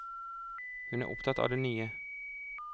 Hun er opptatt av det nye.